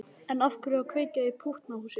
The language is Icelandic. En af hverju að kveikja í pútnahúsi?